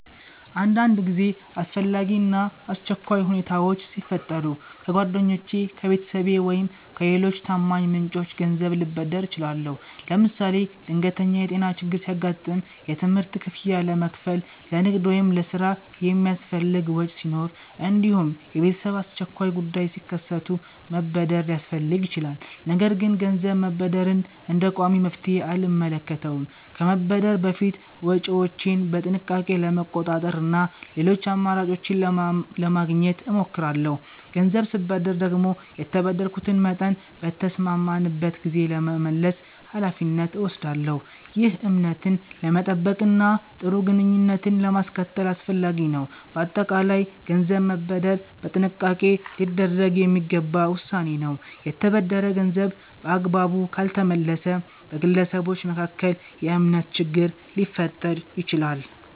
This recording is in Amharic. አንዳንድ ጊዜ አስፈላጊ እና አስቸኳይ ሁኔታዎች ሲፈጠሩ ከጓደኞቼ፣ ከቤተሰቤ ወይም ከሌሎች ታማኝ ምንጮች ገንዘብ ልበደር እችላለሁ። ለምሳሌ ድንገተኛ የጤና ችግር ሲያጋጥም፣ የትምህርት ክፍያ ለመክፈል፣ ለንግድ ወይም ለሥራ የሚያስፈልግ ወጪ ሲኖር፣ እንዲሁም የቤተሰብ አስቸኳይ ጉዳዮች ሲከሰቱ መበደር ሊያስፈልግ ይችላል። ነገር ግን ገንዘብ መበደርን እንደ ቋሚ መፍትሔ አልመለከተውም። ከመበደር በፊት ወጪዎቼን በጥንቃቄ ለመቆጣጠር እና ሌሎች አማራጮችን ለማግኘት እሞክራለሁ። ገንዘብ ስበደር ደግሞ የተበደርኩትን መጠን በተስማማንበት ጊዜ ለመመለስ ኃላፊነት እወስዳለሁ። ይህ እምነትን ለመጠበቅ እና ጥሩ ግንኙነትን ለማስቀጠል አስፈላጊ ነው። በአጠቃላይ ገንዘብ መበደር በጥንቃቄ ሊደረግ የሚገባ ውሳኔ ነው። የተበደረ ገንዘብ በአግባቡ ካልተመለሰ በግለሰቦች መካከል የእምነት ችግር ሊፈጠር ይችላል።